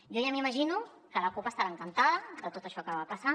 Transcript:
jo ja m’imagino que la cup deu estar encantada de tot això que va passar